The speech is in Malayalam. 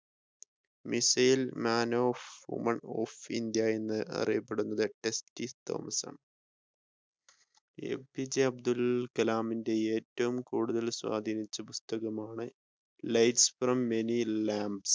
Missile man of women of india എന്ന് അറിയപ്പെടുന്നത് ടെസ്സി തോമസ് ആണ് എപിജെഅബ്ദുൽ കലാമിനെ ഏറ്റവും കൂടുതൽ സ്വാധിനിച്ച പുസ്‌തകമാണ് lights from many lamps